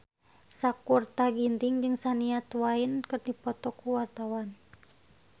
Sakutra Ginting jeung Shania Twain keur dipoto ku wartawan